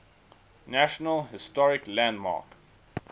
national historic landmark